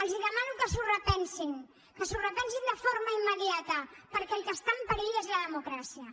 els demano que s’ho repensin que s’ho repensin de forma immediata perquè el que està en perill és la de·mocràcia